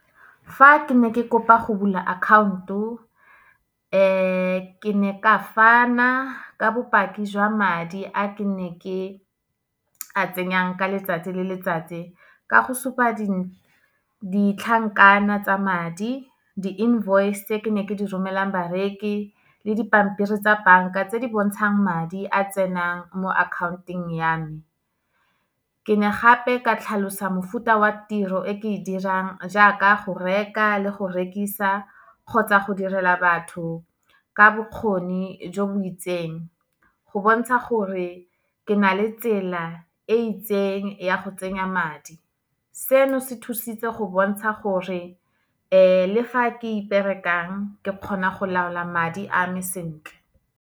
Fa ke ne ke kopa go bula account-o, ke ne ka fana ka bopaki jwa madi a ke ne ke a tsenyang ka letsatsi le letsatsi, ka go supa ditlhankana tsa madi, di-invoice-e tse ke ne ke di romelang bareki, le dipampiri tsa banka tse di bontshang madi a tsenang mo account-eng ya me. Ke ne gape ka tlhalosa mofuta wa tiro e ke e dirang, jaaka go reka le go rekisa, kgotsa go direla batho ka bokgoni jo bo itseng. Go bontsha gore ke na le tsela e itseng ya go tsenya madi, seno se thusitse go bontsha gore le fa ke iperekang, ke kgona go laola madi a me sentle.